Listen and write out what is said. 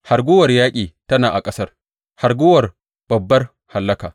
Hargowar yaƙi tana a ƙasar, hargowar babbar hallaka!